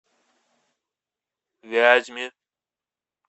вязьме